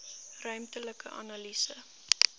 ruimtelike analise